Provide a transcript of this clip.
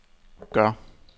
gør